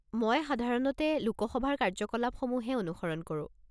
মই সাধাৰণতে লোক সভাৰ কাৰ্য্যকলাপসমূহহে অনুসৰণ কৰোঁ।